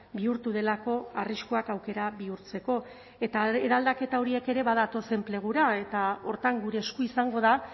bihurtu delako arriskuak aukera bihurtzeko eta eraldaketa horiek ere badatoz enplegura eta horretan gure esku izango da